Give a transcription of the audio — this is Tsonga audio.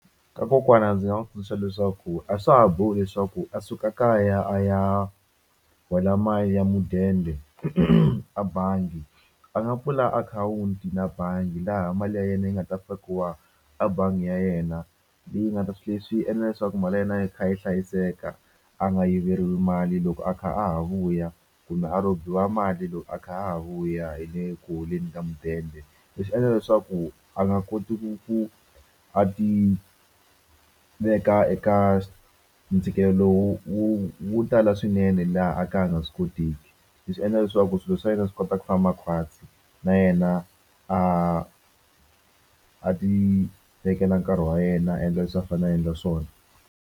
Ka kokwana ndzi nga n'wi tsundzuxa leswaku a swa ha bohi leswaku a suka kaya a ya hola mali ya mudende a bangi a nga pfula akhawunti na bangi laha mali ya yena yi nga ta fakiwa a bangi ya yena leyi nga ta swilo leswi swi endla leswaku mali ya yena yi kha yi hlayiseka a nga yiveriwa mali loko a kha a ha vuya kumbe a robiwa mali loko a kha a ha vuya hi le ku holeni ka mudende leswi endla leswaku a nga koti ku ku a ti veka eka ntshikelelo lowu wu tala swinene laha a ka a nga swi kotiki leswi endla leswaku swilo swa yena swi kota ku famba khwatsi na yena a a ti vekela nkarhi wa yena a endla leswi a fanele a endla swona.